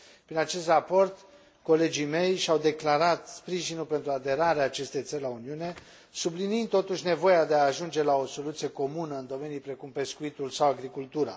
Prin acest raport, colegii mei și au declarat sprijinul pentru aderarea acestei țări la Uniune, subliniind, totuși, nevoia de a ajunge la o soluție comună în domenii precum pescuitul sau agricultura.